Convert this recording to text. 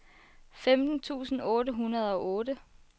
femten tusind otte hundrede og otte